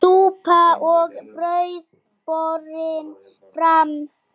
Súpa og brauð borin fram.